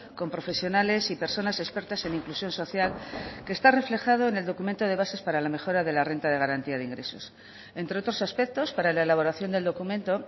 con profesionales y personas expertas en inclusión social que está reflejado en el documento de bases para la mejora de la renta de garantía de ingresos entre otros aspectos para la elaboración del documento